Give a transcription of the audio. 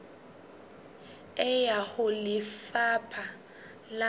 e ya ho lefapha la